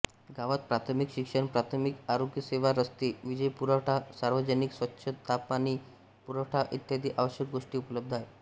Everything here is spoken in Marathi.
गावात प्राथमिक शिक्षणप्राथमिक आरोग्यसेवा रस्ते वीजपुरवठा सार्वजनिक स्वच्छतापाणी पुरवठा इत्यादी आवश्यक गोष्टी उपलब्ध आहेत